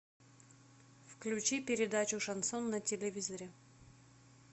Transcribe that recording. включи передачу шансон на телевизоре